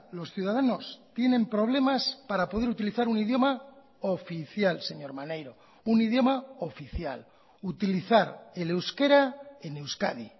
los ciudadanos tienen problemas para poder utilizar un idioma oficial señor maneiro un idioma oficial utilizar el euskera en euskadi